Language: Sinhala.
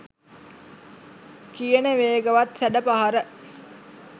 කියන වේගවත් සැඩ පහර